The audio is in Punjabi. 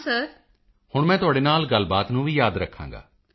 ਮੋਦੀ ਜੀ ਹੁਣ ਮੈਂ ਤੁਹਾਡੇ ਨਾਲ ਗੱਲਬਾਤ ਨੂੰ ਵੀ ਯਾਦ ਰੱਖਾਂਗਾ